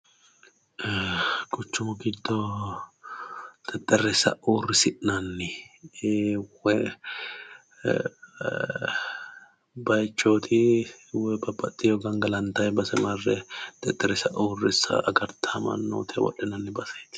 quchumu giddo xexerisa uurrisinnani bayiichoti woyi babaxitino gangalantanni base mare xexerrisa agartawo mannotira wodhinanni baseti.